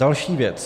Další věc.